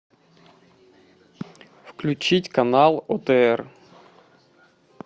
включить канал отр